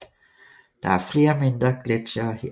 Der er flere mindre gletsjere her